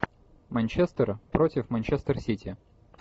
манчестер против манчестер сити